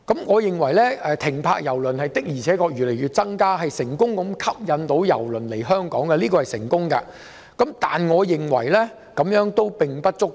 我認為郵輪停泊次數逐漸增加，顯示我們能成功吸引郵輪來港，但這樣並不足夠。